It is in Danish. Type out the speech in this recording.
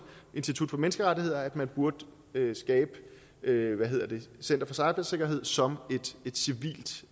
institut for menneskerettigheder at man burde etablere center for cybersikkerhed som